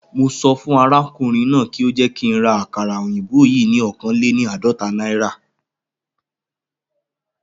Mo sọ fún arákùnrin náà kí ó jẹ́ kí ń ra àkàrà òyìnbó yìí ni oókan léni àádọ́ta náírà